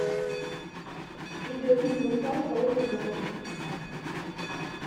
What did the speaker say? видеофильм русалка озеро мертвых